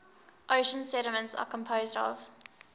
ocean sediments are composed of